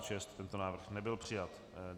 Tento návrh nebyl přijat.